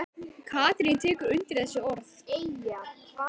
Katrín tekur undir þessi orð.